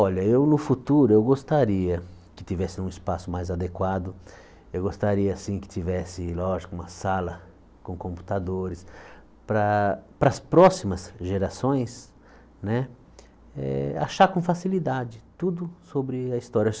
Olha, eu no futuro eu gostaria que tivesse um espaço mais adequado, eu gostaria sim que tivesse, lógico, uma sala com computadores para para as próximas gerações né eh achar com facilidade tudo sobre a história.